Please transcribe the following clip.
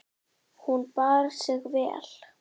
Hún bar sig vel.